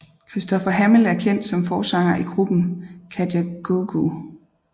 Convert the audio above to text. Christopher Hamill er kendt som forsanger i gruppen Kajagoogoo